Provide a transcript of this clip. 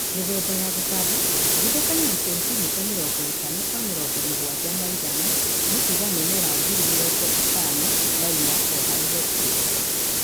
Mĩthemba ya gũtamba tigithũkania na sentimita mĩrongo ĩtano kwa mĩrongo mũgwanja na ithano. nĩ kuga mimera ngili mĩrongo ĩtani na inya o harĩ hektĩa